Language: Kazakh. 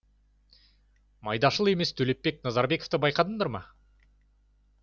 майдашыл емес төлепбек назарбековті байқадыңдар ма